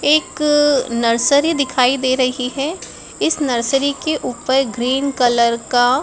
एक नर्सरी दिखाई दे रही है। इस नर्सरी के ऊपर ग्रीन कलर का--